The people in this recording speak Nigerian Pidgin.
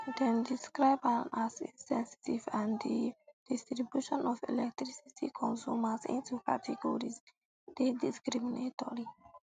dem describe am as insensitive and di um distribution of electricity consumers into categories dey discriminatory